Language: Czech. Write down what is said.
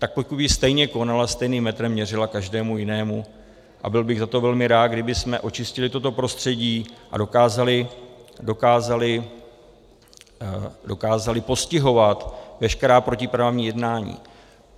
Tak pokud by stejně konala, stejným metrem měřila každému jinému, a byl bych za to velmi rád, kdybychom očistili toto prostředí a dokázali postihovat veškerá protiprávní jednání.